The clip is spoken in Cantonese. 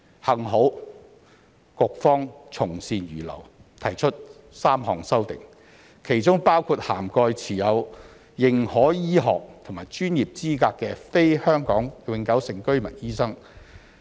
幸好局方從善如流，提出3項修正案，其中包括涵蓋持有認可醫學及專業資格的非香港永久性居民醫生。